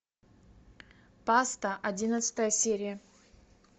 паста одиннадцатая серия